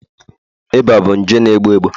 Iba bụ nje na egbu egbu